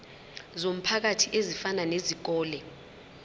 zomphakathi ezifana nezikole